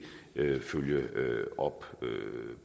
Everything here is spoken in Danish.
vil følge op